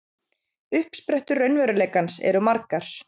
Uppsprettur raunveruleikans eru margar.